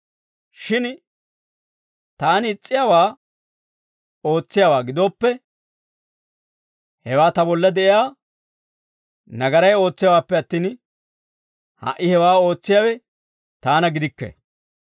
Shin taani is's'iyaawaa ootsiyaawaa gidooppe, hewaa ta bolla de'iyaa nagaray ootsiyaawaappe attin, ha"i hewaa ootsiyaawe taana gidikke.